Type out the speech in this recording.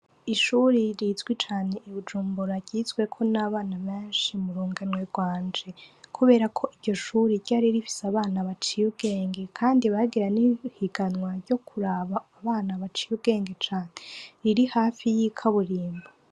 Ishuri rizwi cane i Bujumbura ryizweko n'abana benshi mu runganwe rwanje. Kubera ko iryo shuri ryari rifise abana baciye ubwenge kandi bagira n'ihiganwa ryo kuraba abana baciye ubwenge cane; riri hayi y'ikaburimbo.